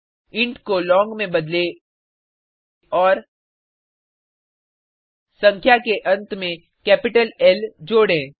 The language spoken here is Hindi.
इंट को लोंग में बदले और संख्या के अंत में कैपिटल ल जोडें